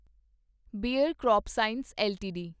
bear crop science LTD